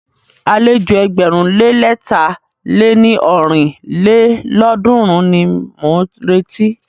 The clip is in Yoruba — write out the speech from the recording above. Àlejò ẹgbẹ̀rún lé lẹ̀ta lé ní ọ́rin lélọ́ọ̀dúnrún ni mọ̀ ń retí.